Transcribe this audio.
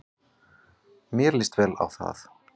Mér lýst vel á það.